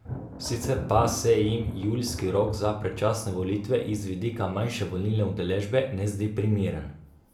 Sicer pa se jim julijski rok za predčasne volitve iz vidika manjše volilne udeležbe, ne zdi primeren.